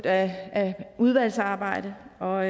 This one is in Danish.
af et udvalgsarbejde og